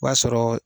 O b'a sɔrɔ